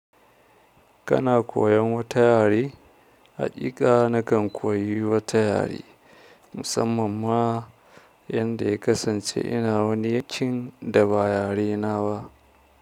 Kana koyan wata yare? Haƙiƙa nakan koyi wata yare musamman ma yanda ya kasance ina wani yakin da ba yare na ba.